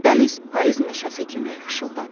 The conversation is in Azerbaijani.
Dəniz payız meşəsi kimi xışıldadı.